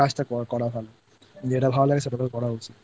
ছুটিতে নিজের কাজটা করা ভালো যেটা ভালো লাগে সেটা করা উচিতI